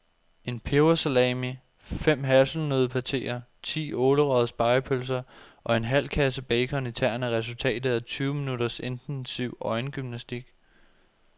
En pebersalami, fem hasselnøddepateer, ti ålerøgede spegepølser og en halv kasse bacon i tern er resultatet af tyve minutters intensiv øjengymnastik.